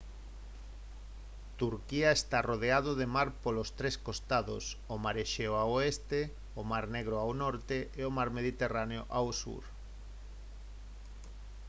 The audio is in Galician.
turquía está arrodeado de mar polos tres costados o mar exeo ao oeste o mar negro ao norte e o mar mediterráneo ao sur